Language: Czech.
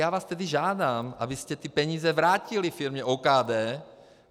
Já vás tedy žádám, abyste ty peníze vrátili firmě OKD.